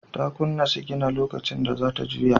Ta kunna sigina lokacin da za ta juya.